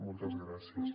moltes gràcies